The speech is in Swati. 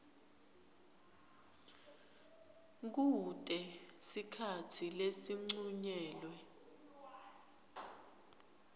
kute sikhatsi lesincunyelwe